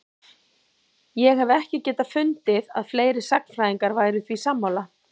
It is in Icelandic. Ég hef ekki getað fundið að fleiri sagnfræðingar væru því sammála?